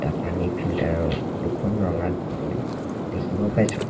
পানী ফিল্টাৰ ত দুখন ৰঙা টুল দেখিব পাইছোঁ।